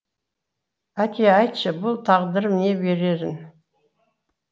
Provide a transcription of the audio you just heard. әке айтшы бұл тағдырым не берерін